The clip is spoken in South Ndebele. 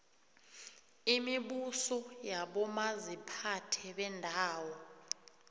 imibuso yabomaziphathe beendawo